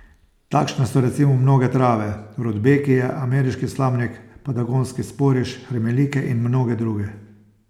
Takšne so recimo mnoge trave, rudbekije, ameriški slamnik, patagonski sporiš, hermelike in mnoge druge.